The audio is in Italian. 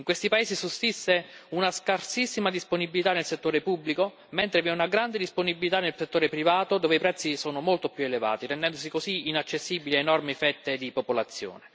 In questi paesi sussiste una scarsissima disponibilità nel settore pubblico, mentre vi è una grande disponibilità nel settore privato, dove i prezzi sono molto più elevati, rendendosi così inaccessibili a enormi fette di popolazione.